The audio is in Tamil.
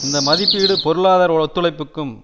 இந்த மதிப்பீடு பொருளாதார ஒத்துழைப்பிற்கும்